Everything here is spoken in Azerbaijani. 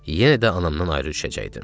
Yenə də anamdan ayrı düşəcəkdim.